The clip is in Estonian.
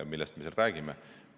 Millest me seal räägime?